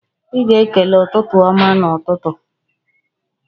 Ị ga-ekele "ụtụtụ ọma" n'ụtụtụ.